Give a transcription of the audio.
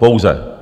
Pouze.